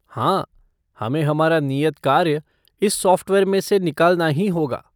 हाँ, हमें हमारा नियत कार्य इस सॉफ़्टवेयर में से निकालना ही होगा।